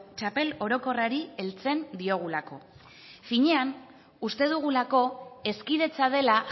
txapel orokorrari heltzen diogulako finean uste dugulako hezkidetza dela